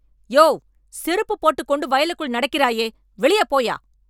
யோவ், செருப்பு போட்டுக் கொண்டு வயலுக்குள் நடக்கிறாயே.. வெளியே போயா